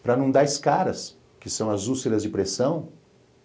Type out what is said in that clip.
para não dar escaras, que são as úlceras de pressão.